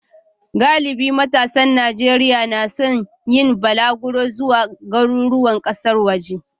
Galibin matasan Najeriya na son yin balaguro zuwa garuruwan kasar waje.